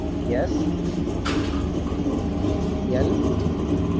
SL